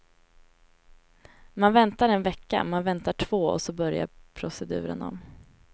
Man väntar en vecka, man väntar två och så börjar proceduren om.